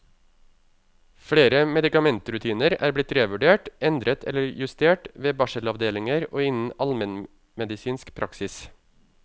Flere medikamentrutiner er blitt revurdert, endret eller justert ved barselavdelinger og innen almenmedisinsk praksis.